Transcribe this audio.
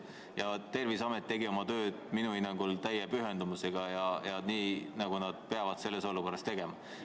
Ja Terviseamet tegi oma tööd minu hinnangul täie pühendumusega, just nii, nagu nad peavad selles olukorras tegema.